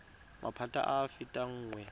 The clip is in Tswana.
maphata a a fetang nngwe